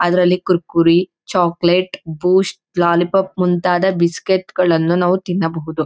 ಅದರಲ್ಲಿ Kurkure chocolate Boost lollipop ಮುಂತ್ತಾದ biscuit ಗಳನ್ನೂ ನಾವು ತಿನ್ನಬಹುದು.